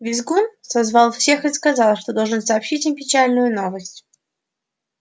визгун созвал всех и сказал что должен сообщить им печальную новость